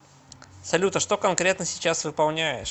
салют а что конкретно сейчас выполняешь